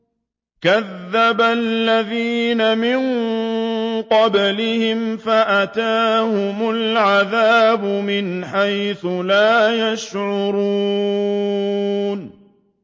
كَذَّبَ الَّذِينَ مِن قَبْلِهِمْ فَأَتَاهُمُ الْعَذَابُ مِنْ حَيْثُ لَا يَشْعُرُونَ